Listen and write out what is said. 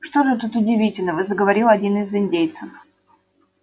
что же тут удивительного заговорил один из индейцев